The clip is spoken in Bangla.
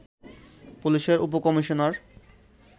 পুলিশের উপ-কমিশনার